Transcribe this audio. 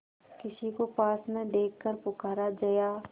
किसी को पास न देखकर पुकारा जया